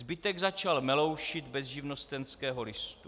Zbytek začal meloušit bez živnostenského listu.